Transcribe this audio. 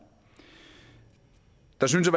der synes